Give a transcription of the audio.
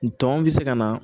Tɔn bɛ se ka na